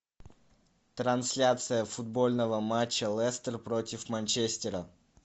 трансляция футбольного матча лестер против манчестера